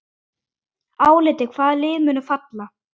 Álitið: Hvaða lið munu falla?